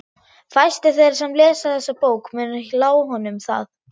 Fæstir þeirra sem lesa þessa bók munu lá honum það.